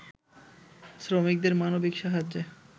শ্রমিকদের মানবিক সাহায্যে